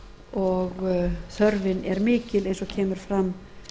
og þörfin er mikil eins og kemur fram